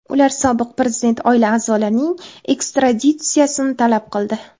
Ular sobiq prezident oila a’zolarining ekstraditsiyasini talab qildi.